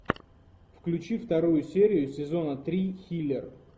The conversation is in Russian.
включи вторую серию сезона три хилер